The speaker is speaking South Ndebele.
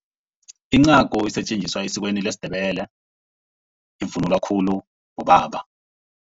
Incagu isetjenziswa esikweni lesiNdebele, ivunulwa khulu bobaba.